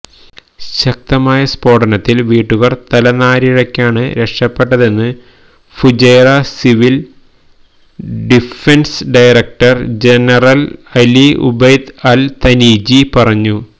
ശക്തമായ സ്ഫോടനത്തില് വീട്ടുകാര് തലനാരിഴക്കാണ് രക്ഷപ്പെട്ടതെന്ന് Fujairah civil defence director general Ali Obaid Al Tunaiji പറഞ്ഞു